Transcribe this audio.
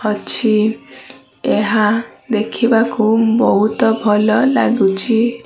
ଅଛି ଏହା ଦେଖିବାକୁ ବୋହୁତ ଭଲ ଲାଗୁଛି।